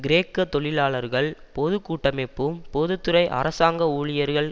கிரேக்க தொழிலாளர்கள் பொது கூட்டமைப்பும் பொது துறை அரசாங்க ஊழியர்கள்